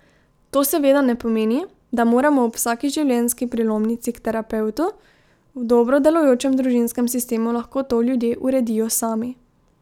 To seveda ne pomeni, da moramo ob vsaki življenjski prelomnici k terapevtu, v dobro delujočem družinskem sistemu lahko to ljudje uredijo sami.